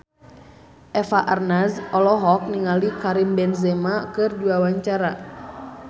Eva Arnaz olohok ningali Karim Benzema keur diwawancara